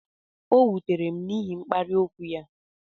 O wutere m n'ihi mkparị okwu ya